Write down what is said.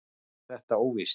Allt er þetta óvíst.